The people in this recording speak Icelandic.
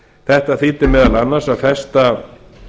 þetta þýddi meðal annars að festa